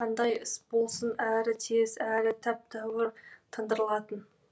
қандай іс болсын әрі тез әрі тәп тәуір тындырылатын